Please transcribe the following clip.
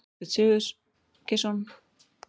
Þorbjörn Sigurgeirsson